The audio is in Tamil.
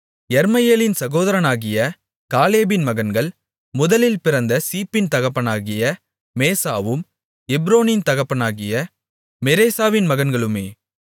யெர்மெயேலின் சகோதரனாகிய காலேபின் மகன்கள் முதலில் பிறந்த சீப்பின் தகப்பனாகிய மேசாவும் எப்ரோனின் தகப்பனாகிய மெரேசாவின் மகன்களுமே